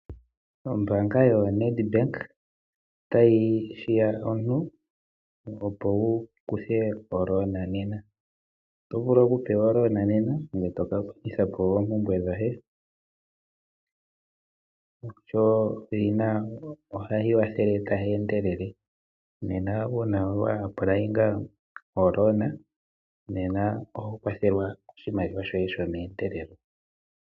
Ombaanga yoNed bank ohayi hiya aantu opo ya vule oku kutha omukuli, uuna wa tula mo eyindilo lyomukuli oho kwathelwa oshimaliwa shomeendelelo opo wuvule oku kiikwatha moompumbwe dhoye.